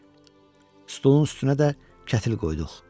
Stulun üstünə də kətil qoyduq.